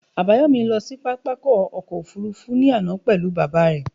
Àbáyòmí lọ sí pápákọ̀ ọkọ̀ òfurufú ní àná pelu baba re